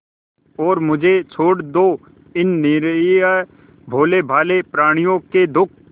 और मुझे छोड़ दो इन निरीह भोलेभाले प्रणियों के दुख